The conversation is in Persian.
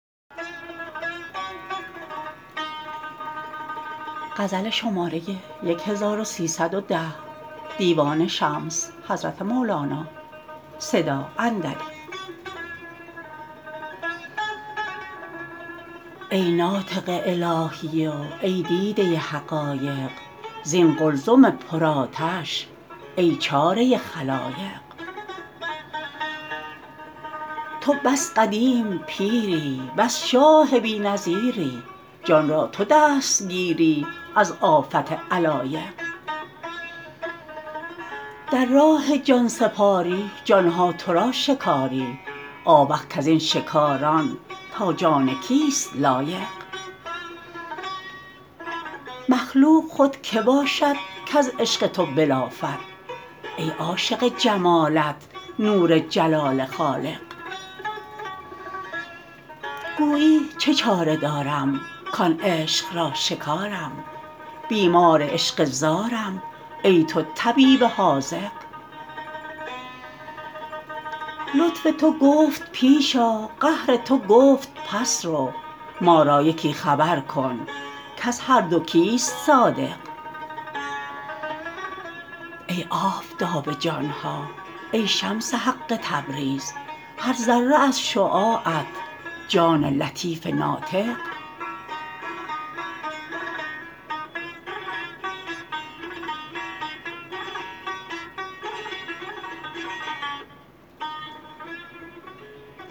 ای ناطق الهی و ای دیده حقایق زین قلزم پرآتش ای چاره خلایق تو بس قدیم پیری بس شاه بی نظیری جان را تو دستگیری از آفت علایق در راه جان سپاری جان ها تو را شکاری آوخ کز این شکاران تا جان کیست لایق مخلوق خود کی باشد کز عشق تو بلافد ای عاشق جمالت نور جلال خالق گویی چه چاره دارم کان عشق را شکارم بیمار عشق زارم ای تو طبیب حاذق لطف تو گفت پیش آ قهر تو گفت پس رو ما را یکی خبر کن کز هر دو کیست صادق ای آفتاب جان ها ای شمس حق تبریز هر ذره از شعاعت جان لطیف ناطق